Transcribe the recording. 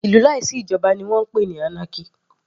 Ìlú láì sí ìjoba ni wọ́n ń pè anarchy.